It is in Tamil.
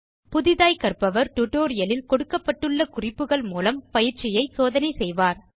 புதிதாய் கற்பவர் டியூட்டோரியல் இல் கொடுக்கப்பட்டுள்ள குறிப்புகள் மூலம் பயிற்சியைச் சோதனை செய்வார்